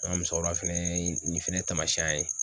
An ka musokoroba fɛnɛ ye nin fɛnɛ taamasiyɛn a ye